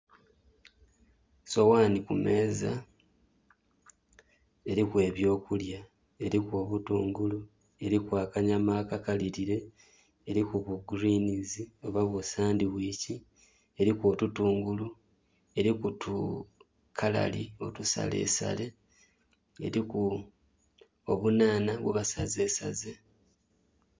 Sowani kumeeza eriku ebyokulya eriku obutungulu, eriku akanyama akakalirire, eriku obugulwiinizi oba busani wiki, eriku otutungulu, eriku tukalali otusalesale, eriku obunhanha bwebasazesaze.